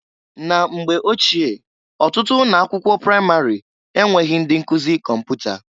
Na mgbe ochie, ọtụtụ ụnọ akwụkwọ pramarị enweghi ndị nkụzị kọmpụta.